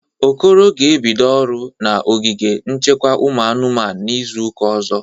Okoro ga-ebido ọrụ na ogige nchekwa ụmụ anụmanụ n'izụ ụka ọzọ.